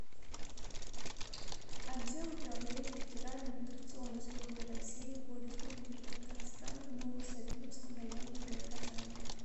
отдел управления федеральной миграционной службы россии по республике татарстан в ново савиновском районе г казани